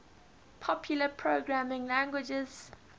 popular programming languages